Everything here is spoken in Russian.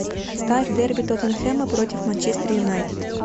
ставь дерби тоттенхэма против манчестер юнайтед